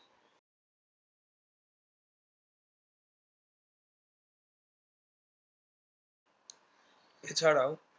এছাড়াও